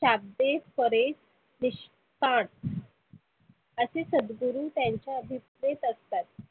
सातवे परे विश असे सदगुरु त्याच्या आभीप्रेत असतात.